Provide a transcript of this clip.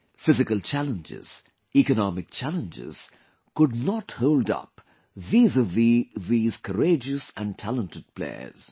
Physical challenges, economic challenges could not hold up visàvis these courageous and talented players